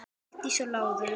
Valdís og Lárus.